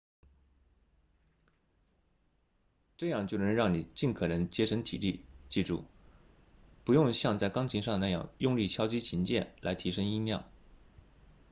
这样就能让你尽可能节省体力记住不用像在钢琴上那样用力敲击琴键来提升音量